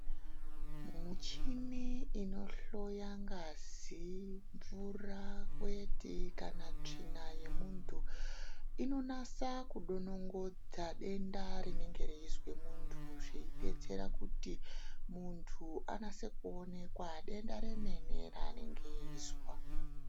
Muchini inohloya ngazi mvura kwete kana tsvina yemuntu, inonasa kudongonodza denda rinenge reyizwa muntu, zveyi detsera kuti muntu anase kuonekwa denda remene raanenge eyizwa.